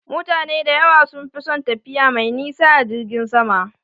Mutane da yawa sun fi son tafiya mai nisa a jirgin sama